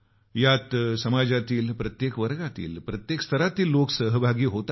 यात समाजातील प्रत्येक वर्गातील प्रत्येक स्तरातले लोक सहभागी होतील